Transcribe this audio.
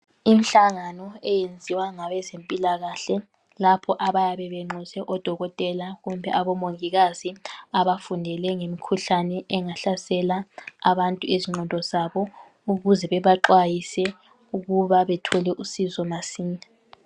Imihlangano eyenziwa lapho abayabe benxuse odokotela kumbe omongikazi abafundele ngemikhuhlane engahlasela abantu ingqondo zabo ukuze bebaxwayise ukuba bethole uncedo masinya.